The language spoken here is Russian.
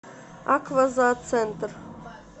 аква зооцентр